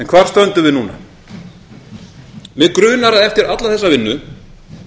hvar stöndum við núna mig grunar að eftir alla þessa vinnu